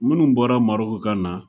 Minnu bɔra Maroc kana